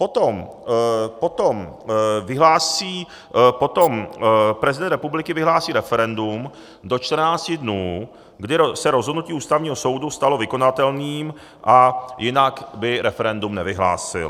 Potom prezident republiky vyhlásí referendum do 14 dnů, kdy se rozhodnutí Ústavního soudu stalo vykonatelným, a jinak by referendum nevyhlásil.